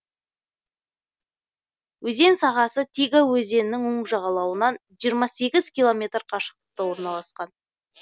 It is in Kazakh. өзен сағасы тига өзенінің оң жағалауынан жиырма сегіз километр қашықтықта орналасқан